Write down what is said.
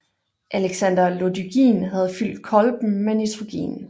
Alexander Lodygin havde fyldt kolben med nitrogen